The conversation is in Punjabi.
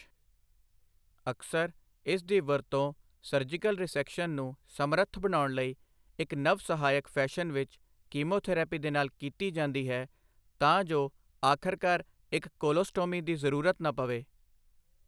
ਅਕਸਰ, ਇਸ ਦੀ ਵਰਤੋਂ ਸਰਜੀਕਲ ਰਿਸੈਕਸ਼ਨ ਨੂੰ ਸਮਰੱਥ ਬਣਾਉਣ ਲਈ ਇੱਕ ਨਵ ਸਹਾਇਕ ਫੈਸ਼ਨ ਵਿੱਚ ਕੀਮੋਥੈਰੇਪੀ ਦੇ ਨਾਲ ਕੀਤੀ ਜਾਂਦੀ ਹੈ, ਤਾਂ ਜੋ ਆਖਰਕਾਰ ਇੱਕ ਕੋਲੋਸਟੋਮੀ ਦੀ ਜ਼ਰੂਰਤ ਨਾ ਪਵੇ।